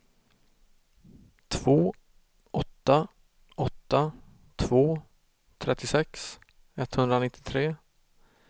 två åtta åtta två trettiosex etthundranittiotre